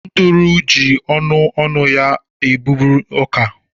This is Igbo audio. Nduru ji ọnụ ọnụ ya na-eburu ọka.